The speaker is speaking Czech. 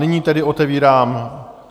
Nyní tedy otevírám